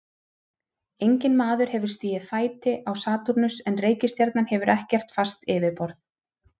Enginn maður hefur stigið fæti á Satúrnus en reikistjarnan hefur ekkert fast yfirborð.